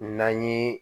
Na ye